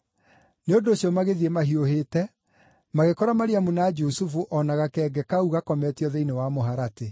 Nĩ ũndũ ũcio magĩthiĩ mahiũhĩte, magĩkora Mariamu na Jusufu o na gakenge kau gakometio thĩinĩ wa mũharatĩ.